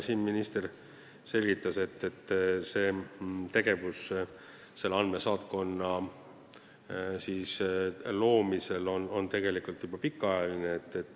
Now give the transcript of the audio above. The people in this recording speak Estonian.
Minister selgitas, et tegevus andmesaatkonna loomiseks on olnud pikaajaline.